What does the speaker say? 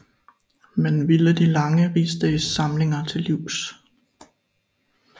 Man ville de lange rigsdagssamlinger til livs